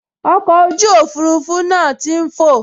Ọkọ̀ ojú òfurufú náà tí n fọ̀